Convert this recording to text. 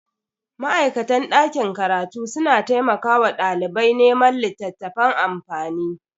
Ma'aikatan dakin karatu suna taimakawa dalibai neman littafan amfani.